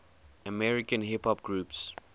american hip hop groups